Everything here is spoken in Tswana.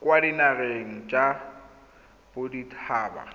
kwa dinageng tsa bodit haba